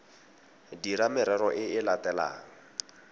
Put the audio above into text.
dira merero e e latelang